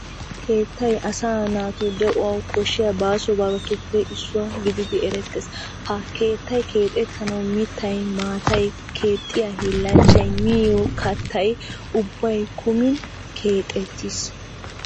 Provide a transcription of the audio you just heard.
Keettay asaa naatu de'uwan koshshiya baasobatuppe issuwa gididi erettees. Ha kettay keexettanawu mittay, maatay, keexxiya hiillanchchay, miyo kattay ubbay kumin keexettiis.